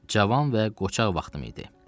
Cavan və qoçaq vaxtım idi.